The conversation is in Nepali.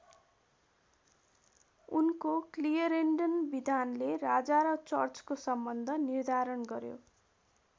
उनको क्लियरेन्डन विधानले राजा र चर्चको सम्बन्ध निर्धारण गर्‍यो।